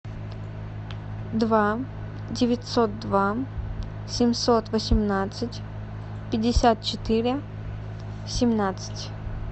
два девятьсот два семьсот восемнадцать пятьдесят четыре семнадцать